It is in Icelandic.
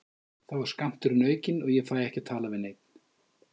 Þá er skammturinn aukinn og ég fæ ekki að tala við neinn.